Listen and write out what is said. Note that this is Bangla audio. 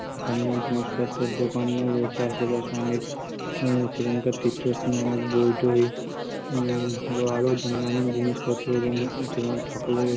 স্থানীয় জিনিস পত্রের দোকান ও রয়েছে অনেক আশে পাশে, সেখানের তীর্থ স্থানের অনেক বই টই উম আরও নানান জিনিসপত্র এবং ঠাকুরের